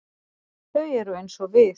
Þau eru eins og við.